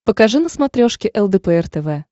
покажи на смотрешке лдпр тв